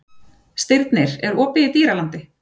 Stirnir, er opið í Dýralandi?